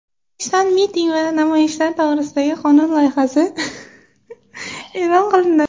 O‘zbekistonda miting va namoyishlar to‘g‘risidagi qonun loyihasi e’lon qilindi.